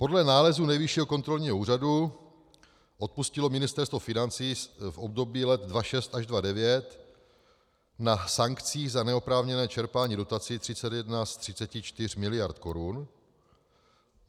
Podle nálezu Nejvyššího kontrolního úřadu odpustilo Ministerstvo financí z období let 2006 až 2009 na sankcích za neoprávněné čerpání dotací 31 z 34 miliard korun.